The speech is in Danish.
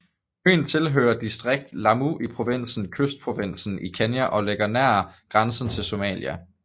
Øen tilhører distriktet Lamu i provinsen Kystprovinsen i Kenya og ligger nær grænsen til Somalia